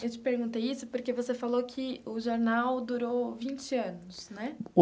Eu te perguntei isso porque você falou que o jornal durou vinte anos, né?